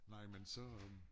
Nej men så